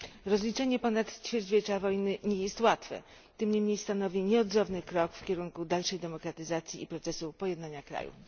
Rozliczenie ponad ćwierćwiecza wojny nie jest łatwe, tym niemniej stanowi nieodzowny krok w kierunku dalszej demokratyzacji i procesów pojednania krajów.